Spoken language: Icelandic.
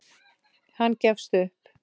Hann gefst upp.